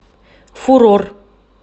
фурор